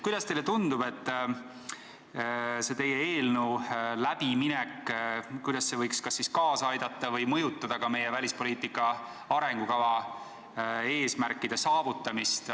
Kuidas teile tundub, mismoodi teie eelnõu läbiminek võiks kas siis kaasa aidata või mõjutada meie välispoliitika arengukava eesmärkide saavutamist?